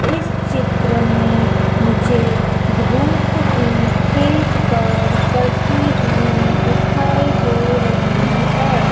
इस चित्र में मुझे धूप भी खेत पर पढ़ती हुई दिखाई दे रही है।